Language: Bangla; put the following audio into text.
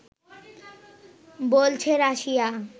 বলছে রাশিয়া